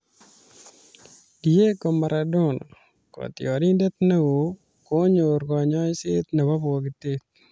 Diego Maradona :Kotiorindet neoo konyor konyoiset nebo bokitotet